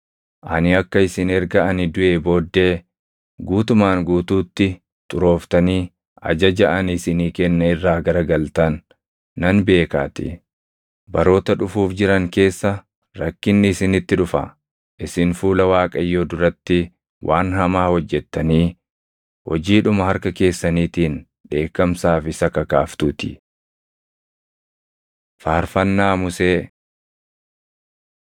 Ani akka isin erga ani duʼee booddee guutumaan guutuutti xurooftanii ajaja ani isinii kenne irraa garagaltan nan beekaatii. Baroota dhufuuf jiran keessa rakkinni isinitti dhufa; isin fuula Waaqayyoo duratti waan hamaa hojjettanii hojiidhuma harka keessaniitiin dheekkamsaaf isa kakaaftuutii.” Faarfannaa Musee